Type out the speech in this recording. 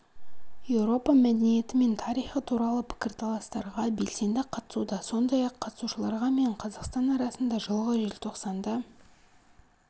еуропа мәдениеті мен тарихы туралы пікірталастарға белсенді қатысуда сондай-ақ қатысушыларға мен қазақстан арасында жылғы желтоқсанда